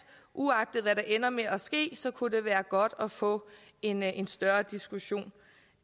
uagtet hvad der ender med at ske kunne det være godt at få en en større diskussion